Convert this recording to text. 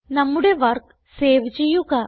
നമ്മുടെ work save ചെയ്യുക